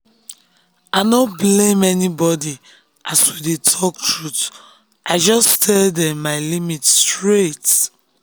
i no blame anybody as we dey talk truth i just tell dem my limits straight